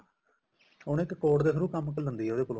ਉਹਨੂੰ ਇੱਕ code ਦੇ through ਕੰਮ ਲੈਂਦੀ ਹੈ ਉਹਦੇ ਕੋਲੋ